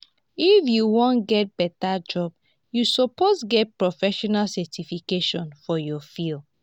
if you wan get beta job you suppose get professional certification for your field.